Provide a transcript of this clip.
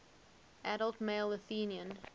adult male athenian